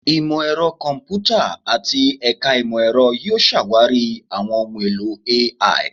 Imọ-ẹrọ Kọmputa ati Ẹka Imọ-ẹrọ yoo ṣawari awọn ohun elo AI